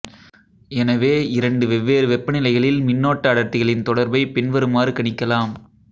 எனவே இரண்டு வெவ்வேறு வெப்பநிலைகளில் மின்னோட்ட அடர்த்திகளின் தொடர்பை பின்வருமாறு கணிக்கலாம்